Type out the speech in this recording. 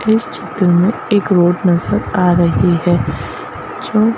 इस चित्र में एक रोड नजर आ रही है जो --